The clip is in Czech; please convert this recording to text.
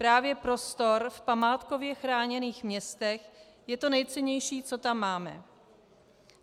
Právě prostor v památkově chráněných městech je to nejcennější, co tam máme.